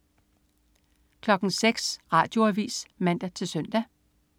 06.00 Radioavis (man-søn)